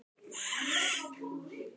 Amma átti góða ævi.